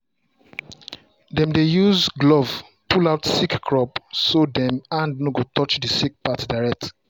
dem dey use glove pull out sick crop so dem hand no go touch the sick part direct